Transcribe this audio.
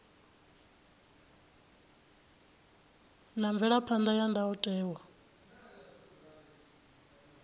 na mvelaphan ḓa ya ndayotewa